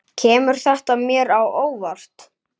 Kemur þetta mér á óvart?